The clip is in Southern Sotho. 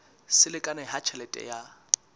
se lekane ha tjhelete ya